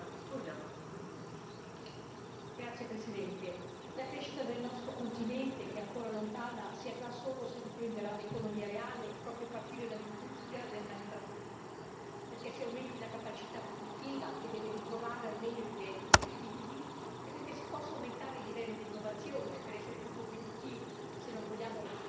Signor Presidente, onorevoli colleghi, la crescita del nostro continente, che è ancora lontana, si avrà solo se riprenderà l'economia reale proprio a partire dall'industria del manifatturiero, affinché aumenti la capacità produttiva, che deve ritrovare almeno i livelli pre crisi, e possa aumentare il livello di innovazione per essere più competitivi, se non vogliamo